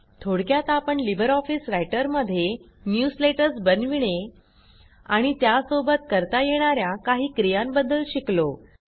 थोडक्यात आपण LibreOffice रायटरमध्ये न्यूजलेटर्स बनविणे आणि त्यासोबत करता येणा या काही क्रियांबद्दल शिकलो